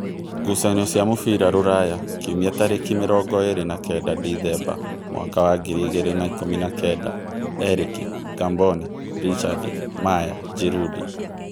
Ngucanio cia mũbira Rūraya Kiumia tarĩki mĩrongo ĩrĩ na kenda ndithemba mwaka wa ngiri igĩrĩ na ikũmi na-kenda: Erĩki, Ngamboni, Richard, Maya, Ngirundi